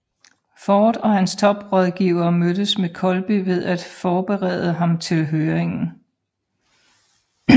Ford og hans toprådgivere mødtes med Colby for at forberede ham til høringen